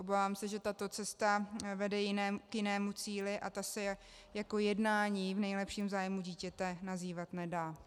Obávám se, že tato cesta vede k jinému cíli, a ta se jako jednání v nejlepším zájmu dítěte nazývat nedá.